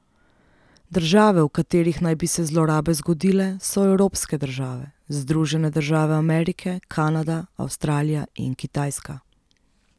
Države, v katerih naj bi se zlorabe zgodile, so evropske države, Združene države Amerike, Kanada, Avstralija in Kitajska.